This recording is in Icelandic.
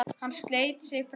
Hann sleit sig frá henni.